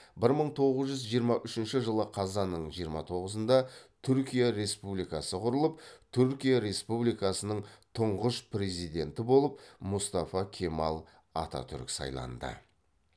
бір мың тоғыз жүз жиырма үшінші жылы қазанның жиырма тоғызында түркия республикасы құрылып түркия республикасының тұңғыш президенті болып мұстафа кемал ататүрік сайланды